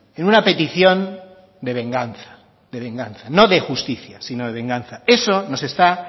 en una petición de venganza de venganza no de justicia sino de venganza eso nos está